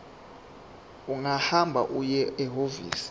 ungahamba uye ehhovisi